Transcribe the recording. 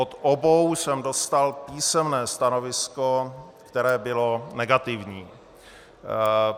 Od obou jsem dostal písemné stanovisko, které bylo negativní.